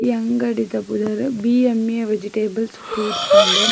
ಈ ಅಂಗಡಿದ ಪುದರ್ ಬಿಎಮ್ಮ್ಎ ವೆಜಿಟೇಬಲ್ ಫ್ರೂಟ್ಸ್ ಪಂಡ್.